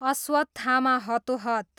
Ashwatthama हतोहत